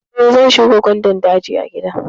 Eh, zan shuka gwandan daji a gida na.